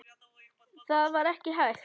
Það var ekki hægt.